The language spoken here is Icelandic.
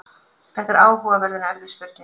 þetta er áhugaverð en erfið spurning